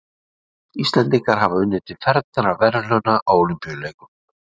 íslendingar hafa unnið til fernra verðlauna á ólympíuleikum